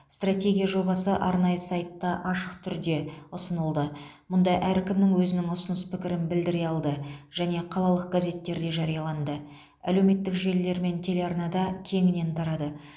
стратегия жобасы арнайы сайтта ашық түрде ұсынылды мұнда әркім өзінің ұсыныс пікірін білдіре алды және қалалық газеттерде жарияланды әлеуметтік желілер мен телеарнада кеңінен тарады